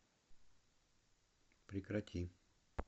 прекрати